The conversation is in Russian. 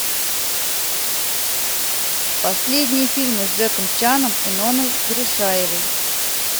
последние фильмы с джеком чаном и нонной гришаевой